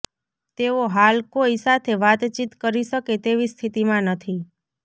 તેઓ હાલ કોઈ સાથે વાતચીત કરી શકે તેવી સ્થિતિમાં નથી